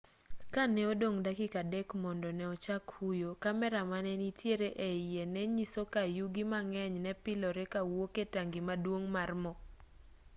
ka ne odong' dakika 3 mondo ne ochak huyo kamera manenitiere e iye ne nyiso ka yugi mang'eny ne pilore kawuok e tangi maduong' mar mo